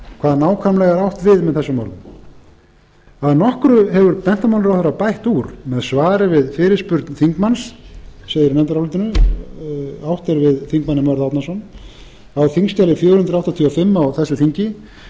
hvað er nákvæmlega átt við með þessum orðum að nokkru hefur menntamálaráðherra bætt úr með svari við fyrirspurn þingmanns segir í nefndarálitinu átt er við þingmanninn mörð árnason á þingskjali fjögur hundruð áttatíu og fimm á þessu þingi